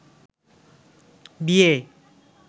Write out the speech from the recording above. বিয়ে